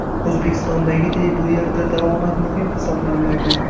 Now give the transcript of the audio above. O‘zbekistondagiday bu yerda davomat muhim hisoblanmaydi.